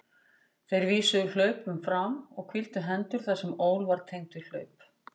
Þeir vísuðu hlaupum fram og hvíldu hendur þar sem ól var tengd við hlaup.